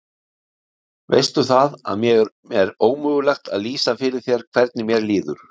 Veistu það, að mér er ómögulegt að lýsa fyrir þér hvernig mér líður.